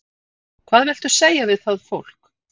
Hvað viltu segja við það fólk?